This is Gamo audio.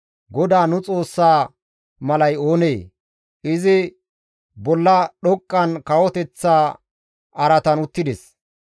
GODAA nu Xoossa malay oonee? Izi bolla dhoqqan kawoteththa araatan uttides.